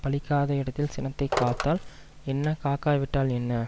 பலிக்காத இடத்தில் சினத்தை காத்தால் என்ன காக்காவிட்டால் என்ன